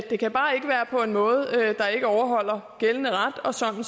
det kan bare ikke være på en måde der ikke overholder gældende ret og sådan